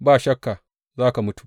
Ba shakka za ka mutu!